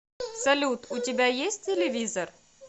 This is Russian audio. салют у тебя есть телевизор